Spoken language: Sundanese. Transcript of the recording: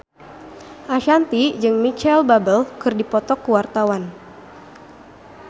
Ashanti jeung Micheal Bubble keur dipoto ku wartawan